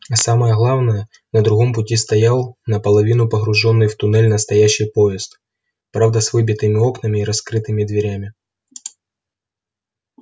а самое главное на другом пути стоял наполовину погружённый в туннель настоящий поезд правда с выбитыми окнами и раскрытыми дверями